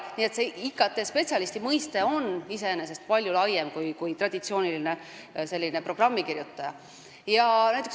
Nii et IT-spetsialisti mõiste on iseenesest palju laiem kui traditsiooniline programmikirjutaja.